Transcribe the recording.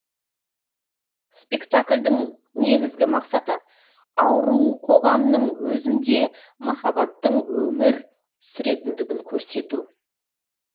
спектакльдің негізгі мақсаты ауру қоғамның өзінде маххабаттың өмір сүретіндігін көрсету